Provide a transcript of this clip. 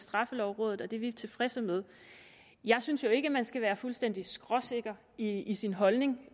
straffelovrådet og det er vi tilfredse med jeg synes ikke man skal være fuldstændig skråsikker i sin holdning